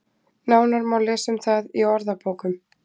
Nánar má lesa um það í orðabókum.